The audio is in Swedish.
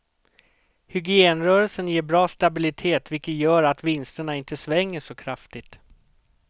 Hygienrörelsen ger bra stabilitet vilket gör att vinsterna inte svänger så kraftigt.